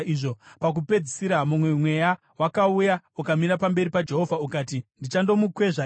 Pakupedzisira, mumwe mweya wakauya ukamira pamberi paJehovha ukati, ‘Ndichandomukwezva ini.’